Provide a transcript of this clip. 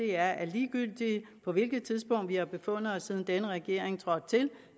er at ligegyldigt på hvilket tidspunkt vi har befundet os siden denne regering trådte til